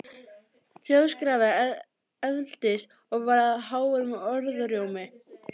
Hljóðskrafið efldist og varð að háværum orðrómi.